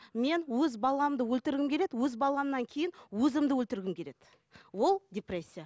мен өз баламды өлтіргім келеді өз баламнан кейін өзімді өлтіргім келеді ол депрессия